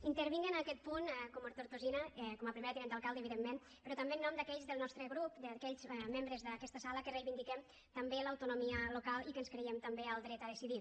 intervinc en aquest punt com a tortosina com a primera tinenta d’alcalde evidentment però també en nom d’aquells del nostre grup d’aquells membres d’aquesta sala que reivindiquem també l’autonomia local i que ens creiem també el dret a decidir